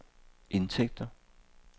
indtægter